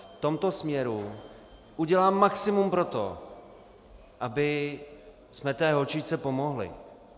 V tomto směru udělám maximum pro to, abychom té holčičce pomohli.